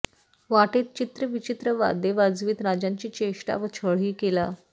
वाटेत चित्रविचित्र वाद्ये वाजवीत राजांची चेष्टा व छळही केला